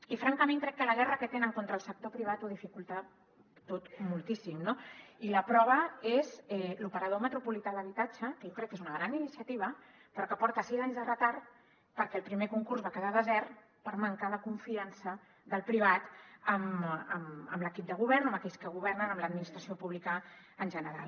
i francament crec que la guerra que tenen contra el sector privat ho dificulta tot moltíssim no i la prova és l’operador metropolità d’habitatge que jo crec que és una gran iniciativa però que porta sis anys de retard perquè el primer concurs va quedar desert per manca de confiança del privat en l’equip de govern o en aquells que governen en l’administració pública en general